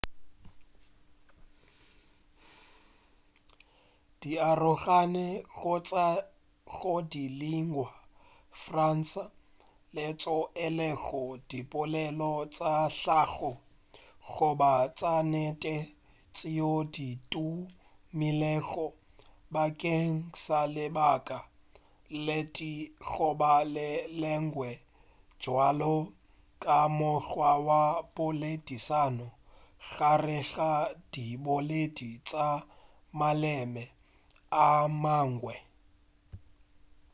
di arogane go tšwa go di lingua franca tšeo e lego dipolelo tša hlago goba tša nnete tšeo di tumilego bakeng sa lebaka le tee goba le lengwe bjalo ka mokgwa wa poledišano gare ga diboledi tša maleme a mangwe